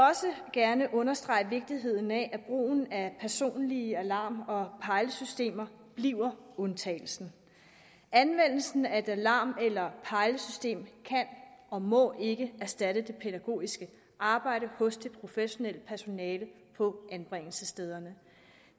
gerne understrege vigtigheden af at brugen af personlige alarm eller pejlesystemer bliver undtagelsen anvendelsen af et alarm eller pejlesystem kan og må ikke erstatte det pædagogiske arbejde hos det professionelle personale på anbringelsesstederne